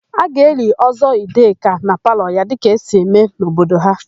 A ga-eli Ọ́zọ́ Ideka na palọ ya dịka esi eme n'obodo ha.